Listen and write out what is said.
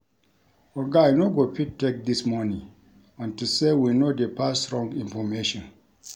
Oga I no go fit take dis money unto say we no dey pass wrong information